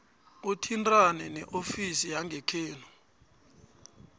uthintane neofisi yangekhenu